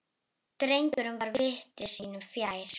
Drengur var viti sínu fjær.